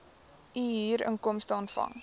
u huurinkomste ontvang